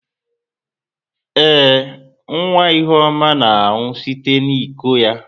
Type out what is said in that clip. Ee, nwa Ihuoma na-aṅụ site n'iko ya.